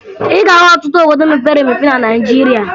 Ị ga-ahụ ọtụtụ obodo mepere emepe na Naịjirịa